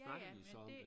Ja ja men det